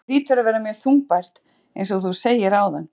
Þetta hlýtur að vera mjög þungbært eins og þú segir áðan?